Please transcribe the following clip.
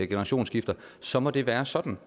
generationsskifte så må det være sådan